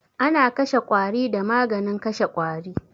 Ana kashe ƙwari da maganin kashe ƙwari